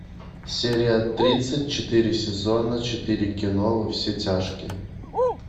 серия тридцать четыре сезона четыре кино во все тяжкие